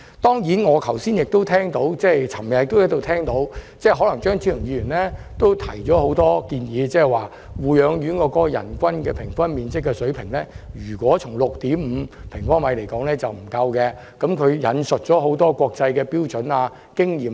當然，我昨天亦聽到張超雄議員提出了很多意見，指出若護養院人均樓面面積為 6.5 平方米，並不足夠，又引述了很多國際標準和經驗。